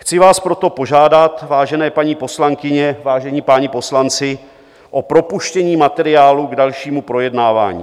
Chci vás proto požádat, vážené paní poslankyně, vážení páni poslanci, o propuštění materiálu k dalšímu projednávání.